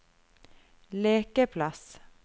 lekeplass